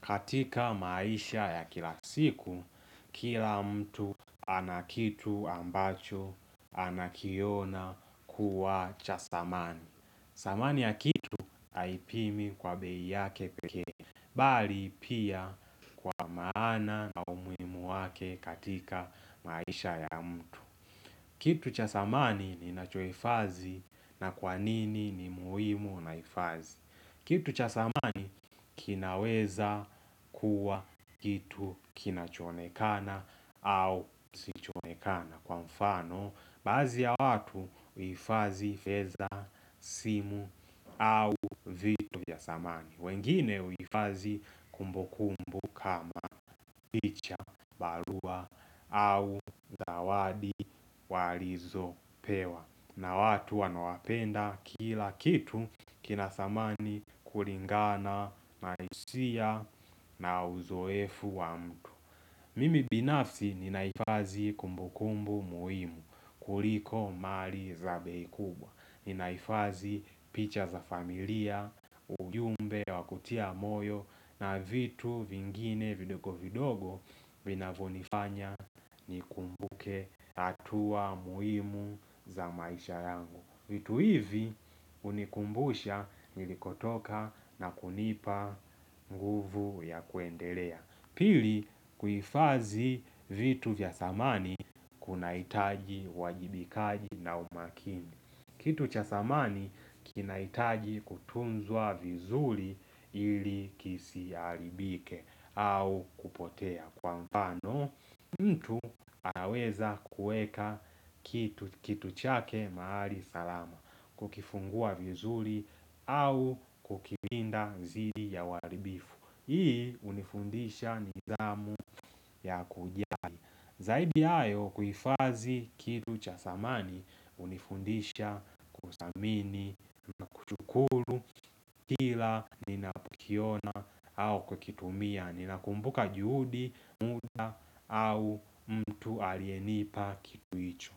Katika maisha ya kila siku, kila mtu anakitu ambacho anakiona kuwa cha samani. Samani ya kitu haipimi kwa bei yake pekee, bali pia kwa maana na umuhimu wake katika maisha ya mtu. Kitu cha samani ninacho hifadhii na kwanini ni muhimu na hifadhi? Kitu cha samani kinaweza kuwa kitu kinachonekana au kisichoonekana kwa mfano baadhi ya watu huifadhi fedha simu au vitu ya samani. Wengine huifadhi kumbukumbu kama picha barua au zawadi walizopewa. Na watu wanaowapenda kila kitu kina samani kulingana na hisia na uzoefu wa mtu Mimi binafsi ninahifadhi kumbukumbu muhimu kuliko mali za bei kubwa Ninahifadhi picha za familia, ujumbe wa kutia moyo na vitu vingine vidogo vidogo vinavyonifanya nikumbuke hatua muhimu za maisha yangu vitu hivi hunikumbusha nilikotoka na kunipa nguvu ya kuendelea Pili kufadhi vitu vya samani kuna hitaji uwajibikaji na umakini Kitu cha samani kinahitaji kutunzwa vizuri ili kisiharibike au kupotea kwa mfano mtu anaweza kuweka kitu chake mahali salama Kukifungua vizuri au kukilinda dhidi ya uharibifu Hii hunifundisha nidhamu ya kujali Zaidi ya hayo kuhifadhi kitu cha samani hunifundisha kusamini na kushukuru Kila ninapokiona au kukitumia ninakumbuka juhudi muda au mtu aliyenipa kitu hicho